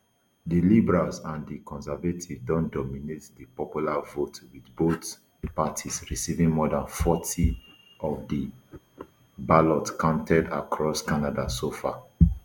di liberals and di conservatives don dominate di popular vote with both parties receiving more dan forty of ballots counted across canada so far